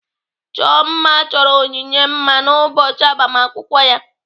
Ọchọ mma chọrọ Onyinye mma n'ụbọchị agbamakwụkwọ ya.